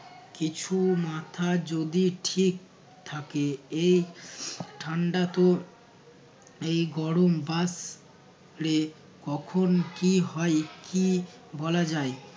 কিছু মাথা যদি ঠিক থাকে এই ঠান্ডা তো এই গরম বাস প রে কখন কী হয় কী বলা যায়।